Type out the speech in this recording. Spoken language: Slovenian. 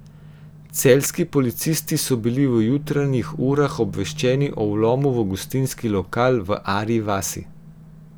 Celjski policisti so bili v jutranjih urah obveščeni o vlomu v gostinski lokal v Arji vasi.